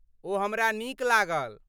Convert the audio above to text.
ओ हमरा नीक लागल।